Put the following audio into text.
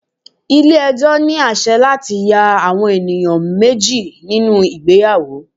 Ilé ẹjọ́ ní àsẹ̀ láti ya àwọn ènìyàn méjì nínú ìgbéyàwó.